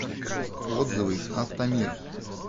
отзывы автомир